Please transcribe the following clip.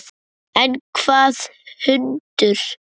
En hvaða hundur?